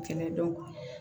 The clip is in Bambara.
Kɛlɛ don